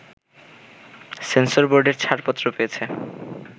সেন্সরবোর্ডের ছাড়পত্র পেয়েছে